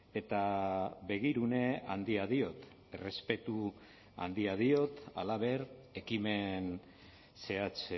eta begirune handia diot errespetu handia diot halaber ekimen zehatz